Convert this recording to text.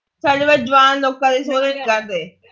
ਸਾਡੇ ਵਲ ਜਵਾਨ ਲੋਕਾਂ ਦੇ ਸੋਹਰੇ ਨਹੀਂ